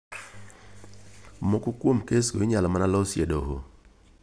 Moko kuom kesgo inyalo mana losiye e doho.